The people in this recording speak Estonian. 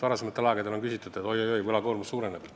Varasematel aegadel on öeldud, et oi-oi, võlakoormus suureneb.